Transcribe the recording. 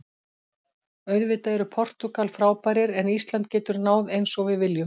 Auðvitað eru Portúgal frábærir en Ísland getur náð eins og við viljum.